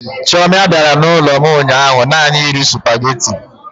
Chioma bịara n'ụlọ m ụnyaahụ naanị iri sụpaghetị.